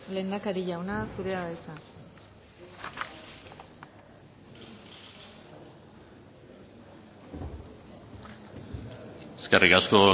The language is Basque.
lehendakari jauna zurea da hitza eskerrik asko